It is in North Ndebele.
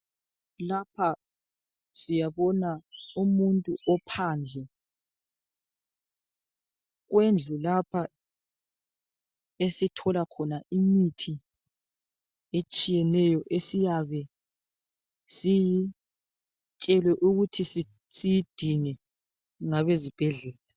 Lpha siyabona umuntu ophandle wendlu lapha esithola khona imithi esthiyeneyo esiyabe siyitshelwe ukuthi siyidinge ngabezibhedlela.